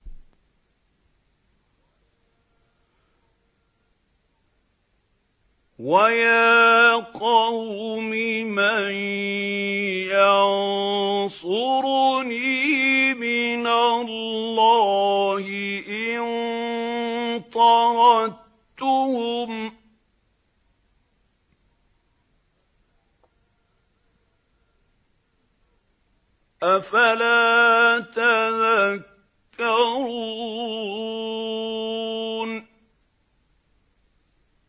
وَيَا قَوْمِ مَن يَنصُرُنِي مِنَ اللَّهِ إِن طَرَدتُّهُمْ ۚ أَفَلَا تَذَكَّرُونَ